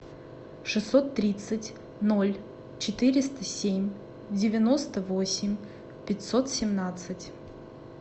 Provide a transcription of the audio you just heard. шестьсот тридцать ноль четыреста семь девяносто восемь пятьсот семнадцать